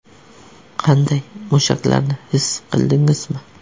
Qanday, mushaklarni his qildingizmi?